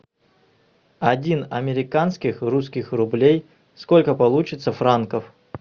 один американских русских рублей сколько получится франков